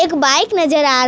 एक बाइक नजर आ रहा--